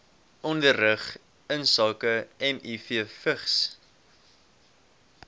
onderrig insake mivvigs